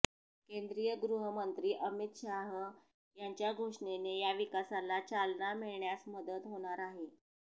केंद्रीय गृहमंत्री अमित शाह यांच्या घोषणेने या विकासाला चालना मिळण्यास मदत होणार आहे